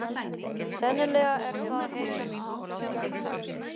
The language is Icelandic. Sennilega er það hetjan aftur á ferð.